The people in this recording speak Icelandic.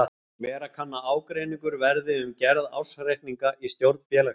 Vera kann að ágreiningur verði um gerð ársreikninga í stjórn félagsins.